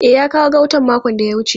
E, ya kawo gautan makon da ya wuce.